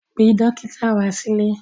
Pe dọ́kítà wá sílé!